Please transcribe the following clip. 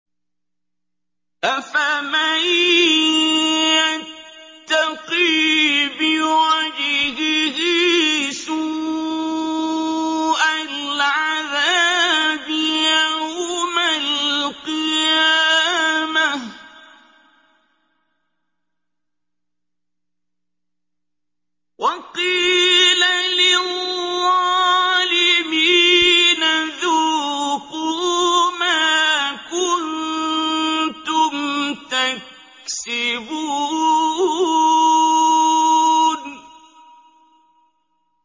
أَفَمَن يَتَّقِي بِوَجْهِهِ سُوءَ الْعَذَابِ يَوْمَ الْقِيَامَةِ ۚ وَقِيلَ لِلظَّالِمِينَ ذُوقُوا مَا كُنتُمْ تَكْسِبُونَ